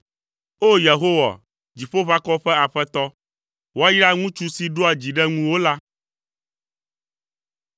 O! Yehowa, Dziƒoʋakɔwo ƒe Aƒetɔ, woayra ŋutsu si ɖoa dzi ɖe ŋuwò la.